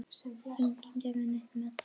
Enginn gerði neitt með það.